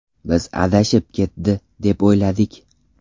Biz adashib ketdi, deb o‘yladik.